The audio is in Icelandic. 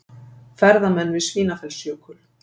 Ferðamenn við Svínafellsjökul.